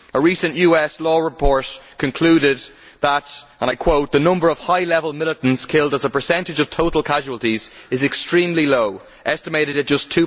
A recent US law report concluded that the number of high level militants killed as a percentage of total casualties is extremely low, estimated at just